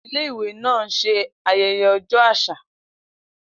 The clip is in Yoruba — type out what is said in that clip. Ile iwe náà ń ṣe ayẹyẹ ọjọ́ àṣà